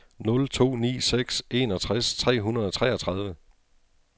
nul to ni seks enogtres tre hundrede og treogtredive